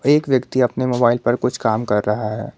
एक व्यक्ति अपने मोबाइल पर कुछ काम कर रहा है।